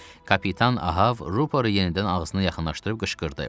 Kapitan Ahav rüporu yenidən ağzına yaxınlaşdırıb qışqırdı.